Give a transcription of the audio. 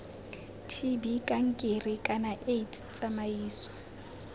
tb kankere kana aids tsamaiso